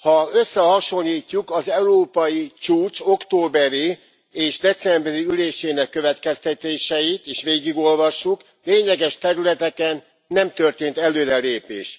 ha összehasonlítjuk az európai csúcs októberi és decemberi ülésének következtetéseit, és végigolvassuk, lényeges területeken nem történt előrelépés.